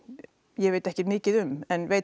ég veit ekkert mikið um en veit